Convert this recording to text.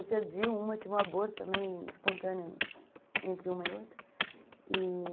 Eu perdi uma, tive um aborto também espontâneo entre uma e outra e